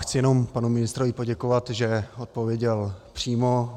Chci jenom panu ministrovi poděkovat, že odpověděl přímo.